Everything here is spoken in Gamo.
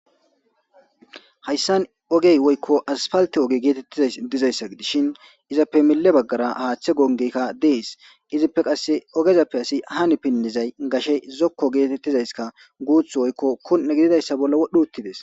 Haysan ogey woykko aspalte oge getetizays dizaysa gidishn izappe mile bagara hathe gongeyka Des. Izappe qase ogezappe asy han pinzay gashey zoko getetizayska guuthu woyko kun'e gididaysa bolla wodh utides.